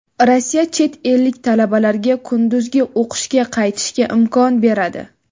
Rossiya chet ellik talabalarga kunduzgi o‘qishga qaytishga imkon beradi.